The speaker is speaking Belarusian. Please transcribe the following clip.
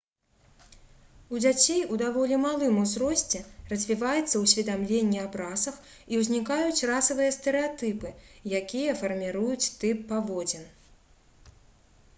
у дзяцей у даволі малым узросце развіваецца ўсведамленне аб расах і ўзнікаюць расавыя стэрэатыпы якія фарміруюць тып паводзін